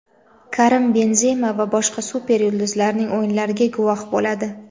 Karim Benzema va boshqa super yulduzlarning o‘yinlariga guvoh bo‘ladi.